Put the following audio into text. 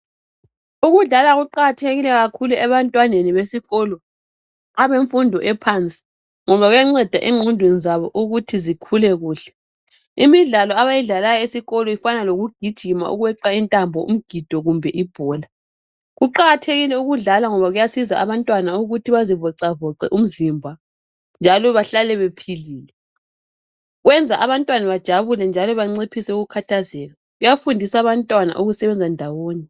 Ukudlala kuqakathekile kakhulu ebantwaneni besikolo. Àbemfundo ephansi , ngoba kuyanceda enqondweni zabo ukuthi zikhule kuhle. Imidlalo abayidlalayo esikolo efana loku gijima, ukweqa intambo, umgido kumbe ibhola. Kuqakathekile ukudlala ngoba kuyasiza abantwana ukuthi bazivoxavoxe umzimba, njalo bahlale bephilile. Kwenza abantwana bajabule njalo banciphise ukukhathazeka. Kuyafundisa bantwana ukusebenza ndawonye.